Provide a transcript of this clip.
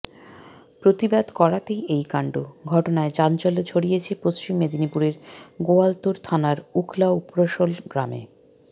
প্রতিবাদ করাতেই এই কাণ্ড ঘটনায় চাঞ্চল্য ছড়িয়েছে পশ্চিম মেদিনীপুরের গোয়ালতোড় থানার উখলা উপোরশোল গ্রামে